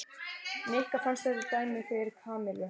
Nikka fannst þetta dæmigert fyrir Kamillu.